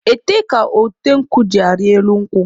Ete ka ote nkwụ jị arị elu nkwụ.